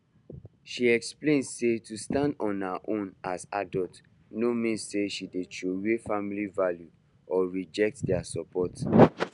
she explain say to stand on her own as adult no mean say she dey throway family values or reject their support